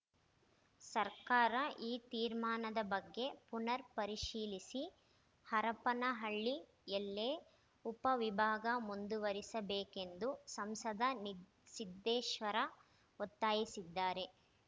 ಸರ್ಕಾರ ಈ ತೀರ್ಮಾನದ ಬಗ್ಗೆ ಪುನರ್‌ ಪರಿಶೀಲಿಸಿ ಹರಪನಹಳ್ಳಿಯಲ್ಲೇ ಉಪ ವಿಭಾಗ ಮುಂದುವರಿಸಬೇಕೆಂದು ಸಂಸದ ನಿ ಸಿದ್ದೇಶ್ವರ ಒತ್ತಾಯಿಸಿದ್ದಾರೆ